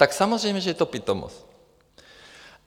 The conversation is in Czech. Tak samozřejmě že to je pitomost.